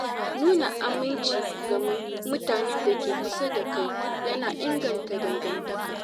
Nuna aminci ga mutanen da ke kusa da kai yana inganta dangantaka.